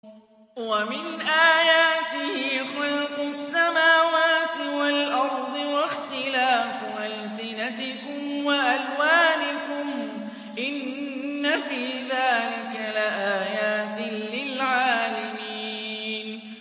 وَمِنْ آيَاتِهِ خَلْقُ السَّمَاوَاتِ وَالْأَرْضِ وَاخْتِلَافُ أَلْسِنَتِكُمْ وَأَلْوَانِكُمْ ۚ إِنَّ فِي ذَٰلِكَ لَآيَاتٍ لِّلْعَالِمِينَ